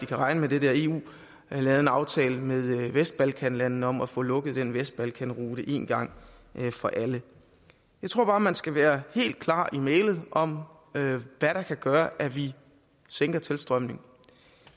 kan regne med det der eu havde lavet en aftale med vestbalkanlandene om at få lukket den vestbalkanrute en gang for alle jeg tror bare man skal være helt klar i mælet om hvad der kan gøre at vi sænker tilstrømningen